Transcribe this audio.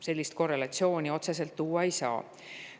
Sellist korrelatsiooni otseselt välja tuua ei saa.